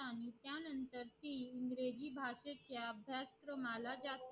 इंग्रजी भाषेच्या अभ्यास क्रमाला त्या